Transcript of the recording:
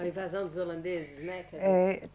A invasão dos holandeses, né? É